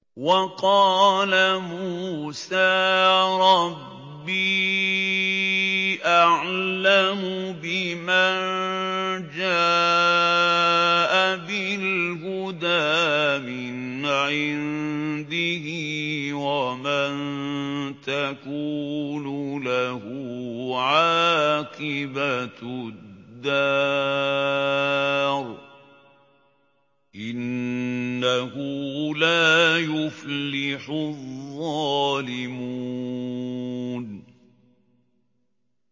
وَقَالَ مُوسَىٰ رَبِّي أَعْلَمُ بِمَن جَاءَ بِالْهُدَىٰ مِنْ عِندِهِ وَمَن تَكُونُ لَهُ عَاقِبَةُ الدَّارِ ۖ إِنَّهُ لَا يُفْلِحُ الظَّالِمُونَ